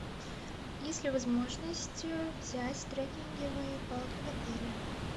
есть ли возможность взять трекинговые палки в отеле